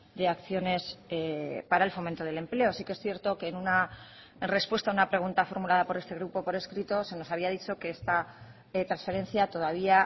de acciones para el fomento del empleo sí que es cierto que en una respuesta a una pregunta formulada por este grupo por escrito se nos había dicho que esta transferencia todavía